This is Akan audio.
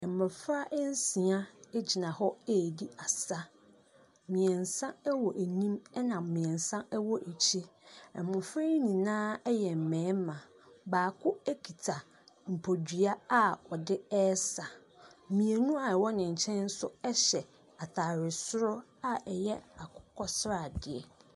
Mmɔfra nsia gyina hɔ redi asa. Mmeɛnsa wɔ anim, ɛna mmeɛnsa wɔ akyire. Mmɔfra yi nyinaa yɛ mmarima baako kita bodua a ɔde resa. Mmienu a wwɔwɔ ne nkyɛn nso hyɛ atadeɛ soro a ɛyɛ akokɔsradeɛ.